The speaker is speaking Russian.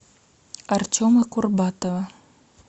артема курбатова